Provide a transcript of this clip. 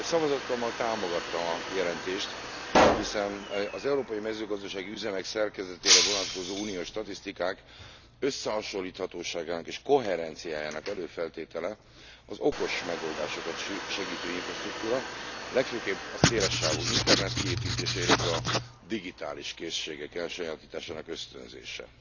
Szavazatommal támogattam a jelentést, hiszen az európai mezőgazdasági üzemek szerkezetére vonatkozó uniós statisztikák összehasonlíthatóságának és koherenciájának előfeltétele az okos megoldásokat segítő infrastruktúra, legfőképp a szélessávú internet kiépítése, illetve a digitális készségek elsajátításának ösztönzése.